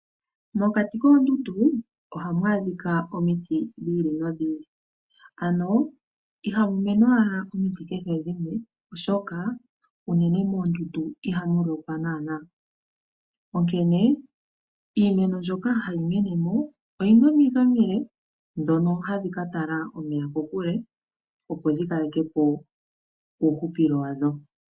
Mokati koondundu ohamu adhika omiti dhi ili nodhi ili. Ano ihamu mene owala omiti kehe dhimwe, oshoka unene moondundu ihamu lokwa naanaa. Onkene iimeno mbyoka hayi mene mo oyina omidhi omile ndhono hadhi ka tala omeya kokule opo dhi kaleke po uuhupilo wadho.